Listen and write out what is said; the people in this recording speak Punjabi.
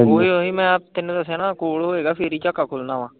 ਉਹੀ ਉਹੀ ਮੈਂ ਤੈਨੂੰ ਦੱਸਿਆ ਨਾ ਕੋਲ ਹੋਵੇਗਾ ਫਿਰ ਹੀ ਝਾਕਾ ਖੁੱਲਣਾ ਵਾ।